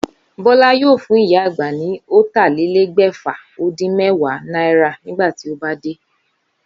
Bólá yóò fún ìyá àgbà ni ótàlélégbèfà-ó-dín-méwàá náírà nígbà tó bá dé